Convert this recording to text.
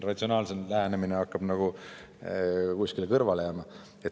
Ratsionaalsem lähenemine hakkab justkui kuskile kõrvale jääma.